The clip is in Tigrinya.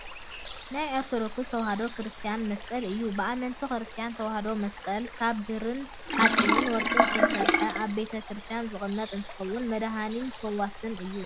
ናይ ኦርቶዶክስ ተዋህዶ ክርስትያን መስቀል እዩ። ብኣመንቲ ክርስትያን ተዋህዶ መስቀል ካብ ብርን ሓፂንን ወርቅን ዝተሰረሓ ኣብ ቤተ-ክርስትያን ዝቅመጥ እንትከውን መድሓኒን ፈዋስን እዩ።